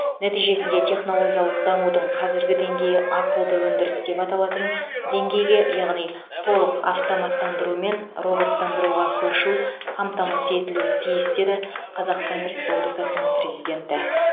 нәтижесінде технологиялық дамудың қазіргі деңгейі ақылды өндіріс деп аталатын деңгейге яғни толық автоматтандыру мен роботтандыруға көшу қамтамасыз етілуі тиіс деді қазақстан республикасының президенті